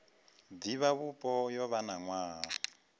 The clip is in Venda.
divhavhupo yo vha na nwaha